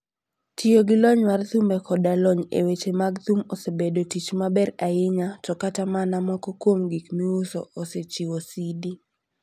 Tiyo gi lony mar thumbe koda lony e weche mag thum osebedo tich maber ahinya, to kata mana moko kuom gik miuso osechiwo CD.